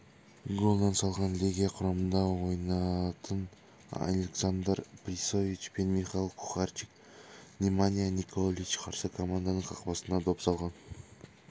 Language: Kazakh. голдан салған легия құрамында ойнайтыналександар прийович пенмихал кухарчик неманья николич қарсы команданың қақпасына доп салған